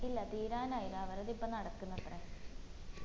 ഇല്ല തീരാനായില്ല അവൾടെ ഇപ്പം നടക്കിന്നത്രെ